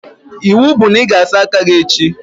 Iwu bụ na ị ga-asa aka gị echi!